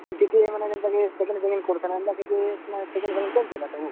TTE ମାନେ ଜେନ୍ତା କି checking ଫେକିଂଗ୍ କରୁଥିଲେ, ଏନ୍ତା, କିଛି checking ଫେକିଂଗ୍ ଚାଲିଥିଲା ସବୁ?